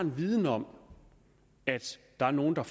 viden om at der er nogen der